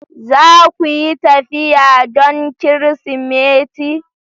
Za ku yi tafiya don Kirsimeti?